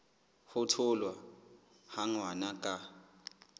ho tholwa ha ngwana ka